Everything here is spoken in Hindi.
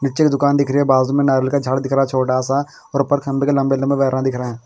निचे दुकान दिख रही है बाजुमें नारियल का झाड़ दिख रहा छोटासा और ऊपर खंबे के लंबे वायरा दिख रहे है।